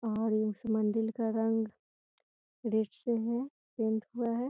और उस मंदिर से का रंग रेड से है पेंट हुआ है।